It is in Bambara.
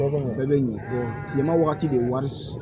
bɛɛ bɛ ɲɛ bɔ tilema wagati de wari